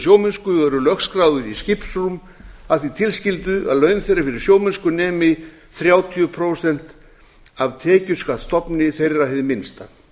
sjómennsku og eru lögskráðir í skipsrúm að því tilskildu að laun þeirra fyrir sjómennsku nemi þrjátíu prósent af tekjuskattsstofni þeirra hið minnsta